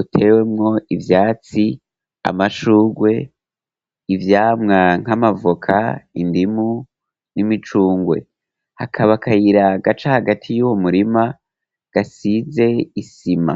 utewemwo ivyatsi, amashugwe ivyamwa nk'amavoka, indimu n'imicungwe, hakaba akayira gaca hagati yuwo murima gasize isima.